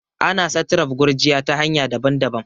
ana satraf gurjiya ta hanya daban-dabam